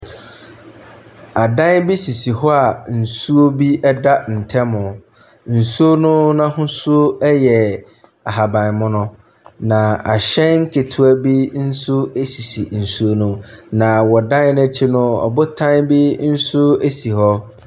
Adan bi sisi hɔ a nsuo bi da ntam. Nsuo no n'ahosuo yɛ ahabanmono. Na ahyɛn nketewa bi sisi nsuo no ho. Na ɔdan no akyi no, ɔbotan bi nso esi hɔ.